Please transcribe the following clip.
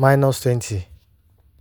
15-20)